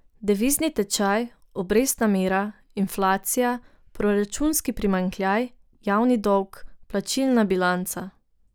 Devizni tečaj, obrestna mera, inflacija, proračunski primanjkljaj, javni dolg, plačilna bilanca ...